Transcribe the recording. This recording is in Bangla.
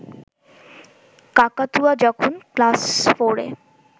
কাকাতুয়া যখন ক্লাস ফোরে